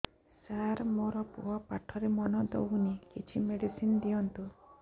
ସାର ମୋର ପୁଅ ପାଠରେ ମନ ଦଉନି କିଛି ମେଡିସିନ ଦିଅନ୍ତୁ